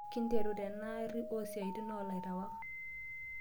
"Kinteru tena arii oo siatin o lairiwak.